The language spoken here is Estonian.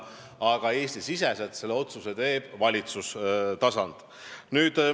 Aga jah, Eesti-siseselt teeb selle otsuse valitsustasand.